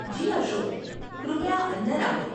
જી અશોક, કૃપયા અંદર આવો.